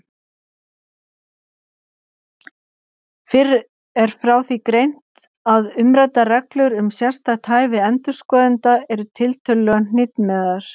Fyrr er frá því greint að umræddar reglur um sérstakt hæfi endurskoðenda eru tiltölulega hnitmiðaðar.